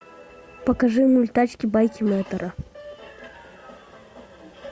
покажи мультачки байки мэтра